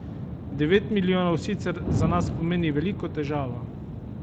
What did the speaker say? Devet milijonov sicer za nas pomeni veliko težavo.